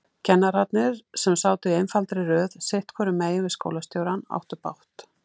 Kennararnir, sem sátu í einfaldri röð sitthvoru megin við skólastjórann, áttu bágt.